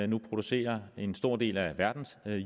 nu producerer en stor del af verdens